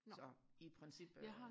så i princippet